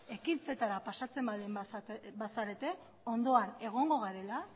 ekintzetara pasatzen baldin bazarete ondoan egongo garela